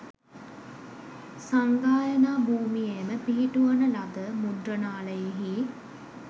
සංගායනා භූමියේම පිහිටුවන ලද මුද්‍රණාලයෙහි